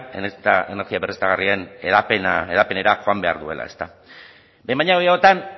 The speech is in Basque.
energia berriztagarrien hedapenera joan behar duela ezta behin baino gehiagotan